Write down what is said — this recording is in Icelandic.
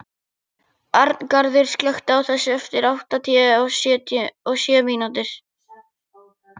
Arngarður, slökktu á þessu eftir áttatíu og sjö mínútur.